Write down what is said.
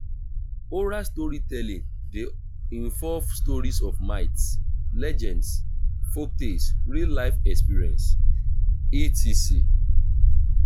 oral storytelling de involve stories of myths legends folktakes real life experience etc.